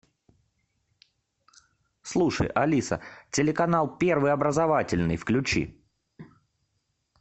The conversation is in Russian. слушай алиса телеканал первый образовательный включи